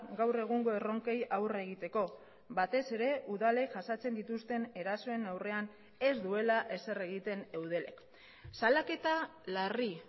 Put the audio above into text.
gaur egungo erronkei aurre egiteko batez ere udalek jasaten dituzten erasoen aurrean ez duela ezer egiten eudelek salaketa larri